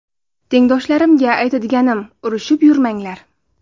Tengdoshlarimga aytadiganim urushib yurmanglar.